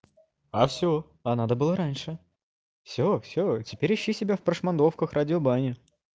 а всё а надо было раньше всё всё теперь ищи себя в прошмандовках радио бани